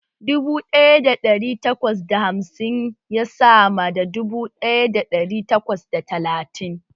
Dubu ɗaya da ɗari takwas da hamsin ya na sama da dubu ɗaya da ɗari takwas da talatin